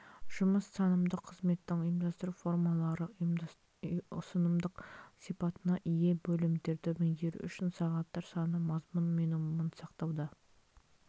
жұмыс танымдық қызметтің ұйымдастыру формалары ұсынымдық сипатына ие бөлімдерді меңгеру үшін сағаттар саны мазмұн минимумын сақтауда